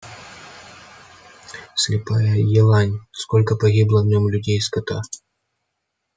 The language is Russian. слепая елань сколько погибло в нем людей и скота